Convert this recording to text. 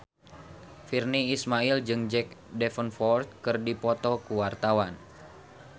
Virnie Ismail jeung Jack Davenport keur dipoto ku wartawan